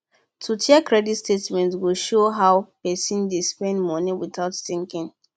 to check credit statement go show how person dey spend money without thinking